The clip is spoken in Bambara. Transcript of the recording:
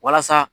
Walasa